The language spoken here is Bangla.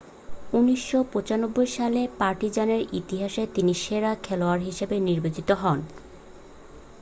1995 সালে পার্টিজানের ইতিহাসে তিনি সেরা খেলোয়াড় হিসাবে নির্বাচিত হন